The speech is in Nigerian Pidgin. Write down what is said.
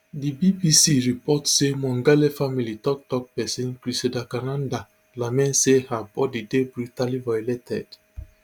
di bbc report say mongale family tok tok pesin criselda kananda lament say her bodi dey brutally violated